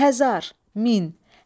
Həzar, min.